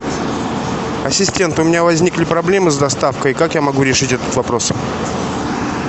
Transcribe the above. ассистент у меня возникли проблемы с доставкой как я могу решить этот вопрос